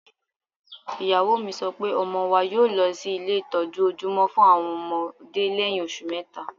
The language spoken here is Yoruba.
Ìyàwó mi sọ pé ọmọ wa yóọ̀ lọ sí ilé ìtọ́jú ojúmọ́ fún àwọn ọmọdé lẹ́yìn oṣù mẹ́ta